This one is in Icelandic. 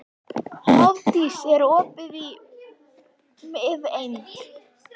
Hofdís, er opið í Miðeind?